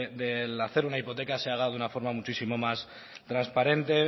del hacer una hipoteca se haga de una forma muchísimo más transparente